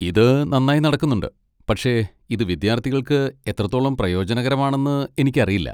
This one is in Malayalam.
ഇത് നന്നായി നടക്കുന്നുണ്ട്, പക്ഷേ ഇത് വിദ്യാർത്ഥികൾക്ക് എത്രത്തോളം പ്രയോജനകരമാണെന്ന് എനിക്കറിയില്ല.